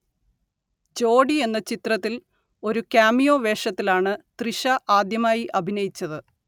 ജോഡി എന്ന ചിത്രത്തിൽ ഒരു കാമിയോ വേഷത്തിലാണ് തൃഷ ആദ്യമായി അഭിനയിച്ചത്